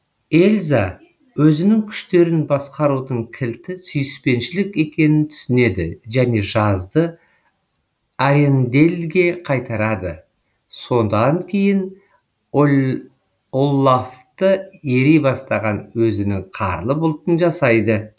эльза өзінің күштерін басқарудың кілті сүйіспеншілік екенін түсінеді және жазды аренделлге қайтарады содан кейін оллафты ери бастаған өзінің қарлы бұлтын жасайды